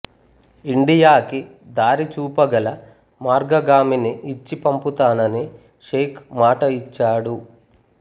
ఇండియాకి దారి చూపగల మార్గగామిని ఇచ్చి పంపుతానని షేక్ మాట ఇచ్చాడు